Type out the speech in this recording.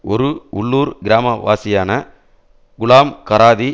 ஒரு உள்ளுர் கிராமவாசியான குலாம் கராதி